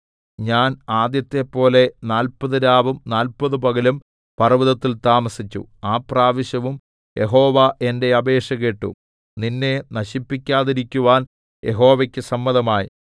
ഞാൻ ആദ്യത്തെപ്പോലെ നാല്പത് രാവും നാല്പത് പകലും പർവ്വതത്തിൽ താമസിച്ചു ആ പ്രാവശ്യവും യഹോവ എന്റെ അപേക്ഷ കേട്ടു നിന്നെ നശിപ്പിക്കാതിരിക്കുവാൻ യഹോവയ്ക്ക് സമ്മതമായി